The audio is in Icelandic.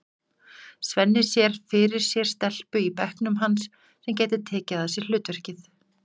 Svenni sér fyrir sér stelpu í bekknum hans sem gæti tekið að sér hlutverkið.